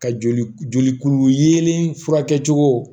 Ka joli joli yelen furakɛ cogo